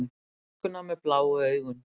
Stúlkuna með bláu augun.